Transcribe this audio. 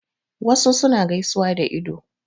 Wasu suna gaisuwa da ido.